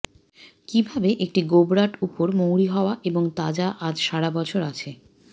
কিভাবে একটি গোবরাট উপর মৌরি হত্তয়া এবং তাজা আজ সারাবছর আছে